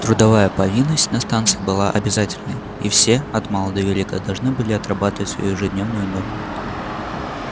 трудовая повинность на станции была обязательной и все от мала до велика должны были отрабатывать свою ежедневную норму